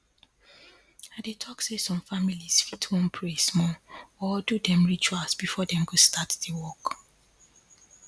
i dey talk say some families fit wan pray small or do dem rituals before dem go start di work